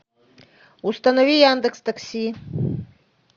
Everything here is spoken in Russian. установи яндекс такси